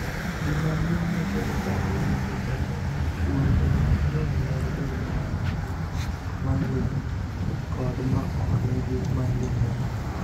Gima duong' makelo chandruogegi en ni, fuonde mang'eny mag del ma nigi myelin kod ma ok nigi myelin lal.